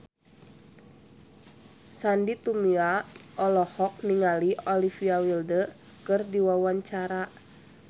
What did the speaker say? Sandy Tumiwa olohok ningali Olivia Wilde keur diwawancara